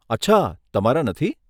અચ્છા, તમારા નથી?